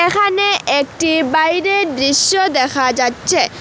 এখানে একটি বাইরের দৃশ্য দেখা যাচ্ছে।